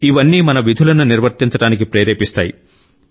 ఇవన్నీ మన విధులను నిర్వర్తించడానికి ప్రేరేపిస్తాయి